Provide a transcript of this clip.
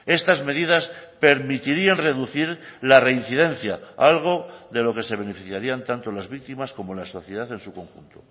estas medidas permitirían reducir la reincidencia algo de lo que se beneficiarían tanto las víctimas como la sociedad en su conjunto